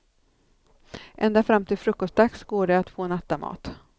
Ända fram till frukostdags går det att få nattamat.